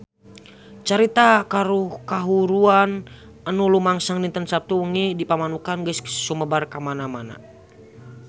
Carita kahuruan anu lumangsung dinten Saptu wengi di Pamanukan geus sumebar kamana-mana